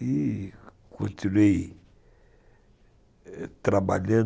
e continuei trabalhando